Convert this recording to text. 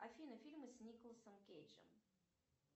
афина фильмы с николосом кейджем